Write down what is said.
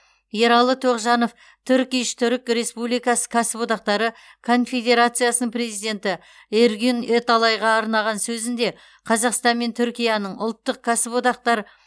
ералы тоғжанов турк иш түрік республикасы кәсіподақтары конфедерациясының президенті эргюн эталайға арнаған сөзінде қазақстан мен түркияның ұлттық кәсіподақтар